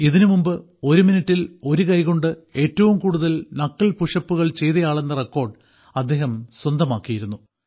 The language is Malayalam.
ഇതിനു മുമ്പ് ഒരു മിനിട്ടിൽ ഒരു കൈകൊണ്ട് ഏറ്റവും കൂടുതൽ നക്കിൾ പുഷപ്പുകൾ ചെയ്തയാളെന്ന റെക്കോർഡ് അദ്ദേഹം സ്വന്തമാക്കിയിരുന്നു